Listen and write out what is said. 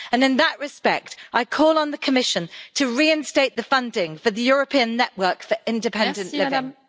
In that respect, I call on the Commission to reinstate the funding for the European Network on Independent Living.